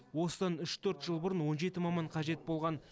осыдан үш төрт жыл бұрын он жеті маман қажет болған